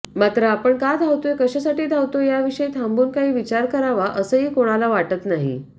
मात्र आपण का धावतोय कशासाठी धावतोय याविषयी थांबून काही विचार करावा असंही कोणाला वाटत नाही